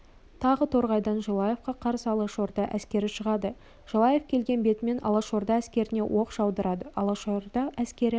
тағы торғайдан желаевқа қарсы алашорда әскері шығады желаев келген бетімен алашорда әскеріне оқ жаудырады алашорда әскері